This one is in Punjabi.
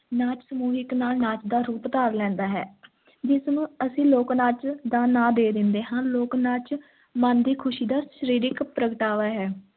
ਨਾਚ ਸਮੂਹਿਕ ਨਾ ਨਾਚ ਦਾ ਰੂਪ ਧਾਰ ਲੈਂਦਾ ਹੈ ਜਿਸ ਨੂੰ ਅਸੀਂ ਲੋਕ-ਨਾਚ ਦਾ ਨਾਂ ਦੇ ਦਿੰਦੇ ਹਾਂ, ਲੋਕ-ਨਾਚ ਮਨ ਦੀ ਖ਼ੁਸ਼ੀ ਦਾ ਸਰੀਰਿਕ ਪ੍ਰਗਟਾਵਾ ਹੈ।